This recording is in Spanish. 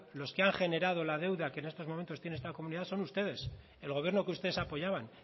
los que han generado la deuda que en estos momentos tiene esta comunidad son ustedes el gobierno que ustedes apoyaban